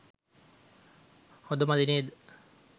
හොඳ මදි නේද?